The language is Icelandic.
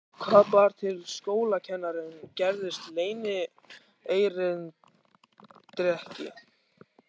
Hvað bar til að skólakennarinn gerðist leynierindreki?